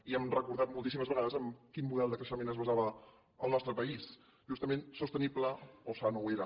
i hem recordat moltíssimes vegades en quin model de creixement es basava el nostre país justament sostenible o sa no ho era